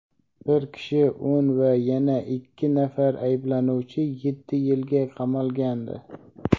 bir kishi o‘n va yana ikki nafar ayblanuvchi yetti yilga qamalgandi.